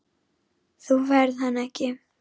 Þú færð hann ekki.